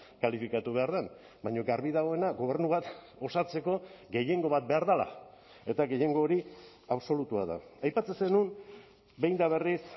kalifikatu behar den baina garbi dagoena gobernu bat osatzeko gehiengo bat behar dela eta gehiengo hori absolutua da aipatzen zenuen behin eta berriz